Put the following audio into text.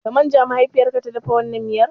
Da man ja mahaifiyar ka ta dafa wannan miyar ne?